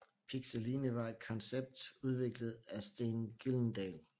Pixeline var et koncept udviklet af Steen Gyldendal